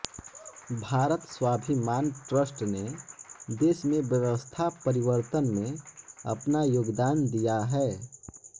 Bharat Swabhiman trust ने देश में व्यवस्था परिवर्तन में अपना योगदान दिया है